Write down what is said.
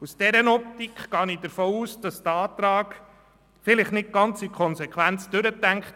Aus dieser Optik gehe ich davon aus, dass dieser Antrag vielleicht nicht im Hinblick auf alle Konsequenzen durchdacht wurde.